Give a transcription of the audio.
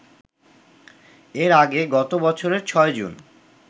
এর আগে গত বছরের ৬ জুন